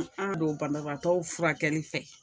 An don banabagatɔw furakɛli fɛ